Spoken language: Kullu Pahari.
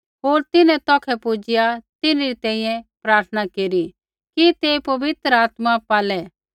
होर तिन्हैं तौखै पुजिआ तिन्हरी तैंईंयैं प्रार्थना केरी कि ते पवित्र आत्मा पालै